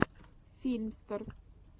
филмстер